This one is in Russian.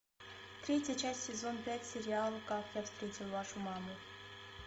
третья часть сезон пять сериал как я встретил вашу маму